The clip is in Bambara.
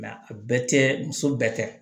a bɛɛ tɛ muso bɛɛ kɛ